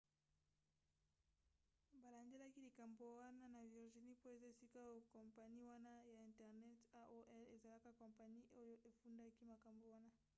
balandelaki likambo wana na virginie mpo eza esika oyo kompani wana ya internet aol ezalaka kompani oyo efundaki makambo wana